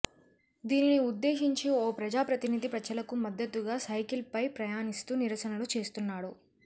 దీనిని ఉద్దేశించి ఓ ప్రజా ప్రతినిధి ప్రజలకు మద్దతుగా సైకిల్ పై ప్రయాణిస్తూ నిరసనలు చేస్తున్నాడు